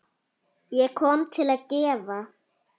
Ég kom til að gefa.